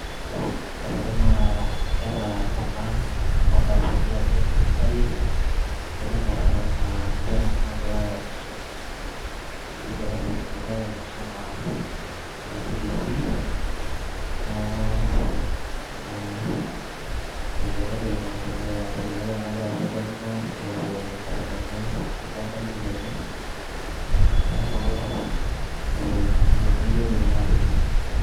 Ore ena na nkera kuna ontarasani eabori e nasasi kajo na sinanu naa ninche kuna nagirai aisum etii darasa eisumitae enkisuma e nasari ana cbc neaku naa entoki nadolita nanu egira aendelea neaku keshipakino egira aendelea enkisuma enye tenebo ormalimui lenye neaku kegira matejo.